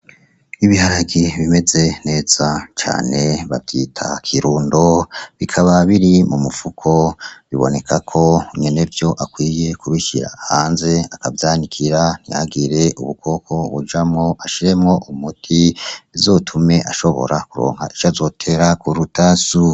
Ibiharage bimeze neza cane bavyita kirundo , bikaba biri mu mufuko biboneka ko nyenevyo akwiye kubishira hanze akavyanikira ntihagire ubukoko bujamwo ashiremwo umuti , bizotume ashobora kuronka ivy'azotera k'urutasu.